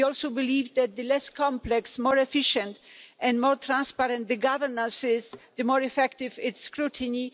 We also believe that the less complex, more efficient and more transparent the governance, the more effective its scrutiny.